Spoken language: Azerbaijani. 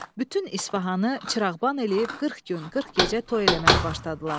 Bütün İsfahanı çırağban eləyib 40 gün, 40 gecə toy eləməyə başladılar.